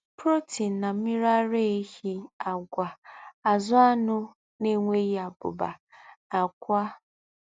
Protein na Mmiri ara ehi Àgwà, azụ̀, anụ̀ na-enweghị abụba, àkwá